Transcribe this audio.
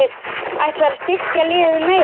Ætlarðu að styrkja liðið meira?